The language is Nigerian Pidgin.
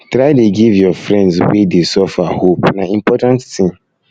try dey give your friends wey dey suffer hope na important tin